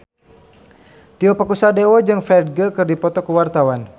Tio Pakusadewo jeung Ferdge keur dipoto ku wartawan